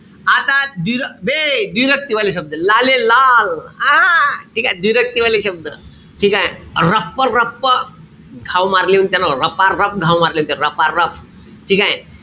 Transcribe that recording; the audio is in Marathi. आता बे व्दिरक्ती वाले शब्द. लालेलाल, हा ठीकेय? व्दिरक्ती वाले शब्द. ठीकेय? रपरप घाव मारले म्हणते त्यानं रपारप घाव मारले म्हणते. रपारप. ठीकेय?